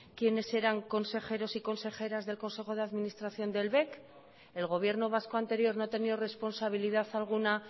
quiénes eran consejeros y consejeras del consejo de administración del bec el gobierno vasco anterior no ha tenido responsabilidad alguna